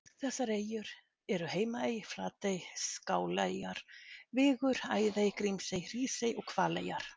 Þessar eyjur eru Heimaey, Flatey, Skáleyjar, Vigur, Æðey, Grímsey, Hrísey og Hvaleyjar.